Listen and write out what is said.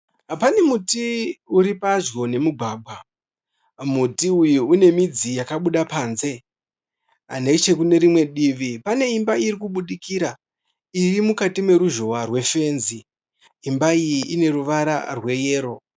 Pane muti uri pedyo nemugwagwa. Muti uyu une midzi yakabuda panze. Nechekunerimwe divi kune imba iri kubudikira iri mukati meruzhohwa rwefenzi. Imba iyi ine ruvara rweyero.